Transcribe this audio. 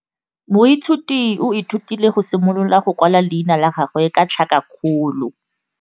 Moithuti o ithutile go simolola go kwala leina la gagwe ka tlhakakgolo.